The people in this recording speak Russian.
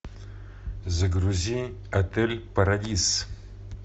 загрузи отель парадиз